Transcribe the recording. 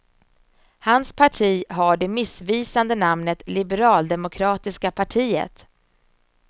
Hans parti har det missvisande namnet liberaldemokratiska partiet.